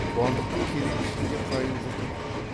қуандықтың керей ішінде қайын жұрты бар